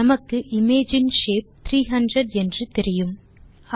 நமக்கு இமேஜ் இன் ஷேப் 300 என்று தெரியும்